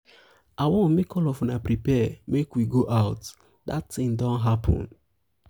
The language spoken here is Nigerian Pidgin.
i wan make all of una prepare make we go out. dat thing don happen.